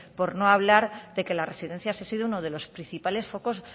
por no hablar de que las residencias ha sido uno de los principales focos